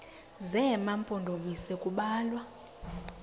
zema mpondomise kubalwa